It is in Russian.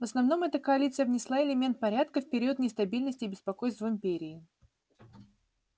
в основном эта коалиция внесла элемент порядка в период нестабильности и беспокойств в империи